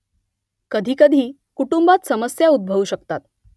कधी-कधी कुटुंबात समस्या उद्भवू शकतात